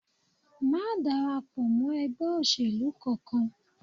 Má darapọ̀ mọ́ ẹgbẹ́ òṣèlú kankan